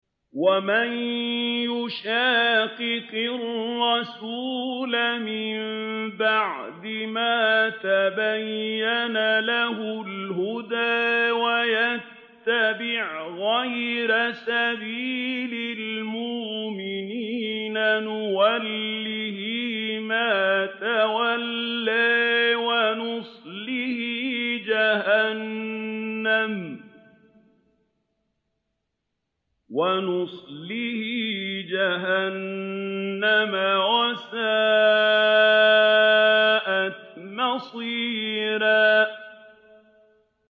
وَمَن يُشَاقِقِ الرَّسُولَ مِن بَعْدِ مَا تَبَيَّنَ لَهُ الْهُدَىٰ وَيَتَّبِعْ غَيْرَ سَبِيلِ الْمُؤْمِنِينَ نُوَلِّهِ مَا تَوَلَّىٰ وَنُصْلِهِ جَهَنَّمَ ۖ وَسَاءَتْ مَصِيرًا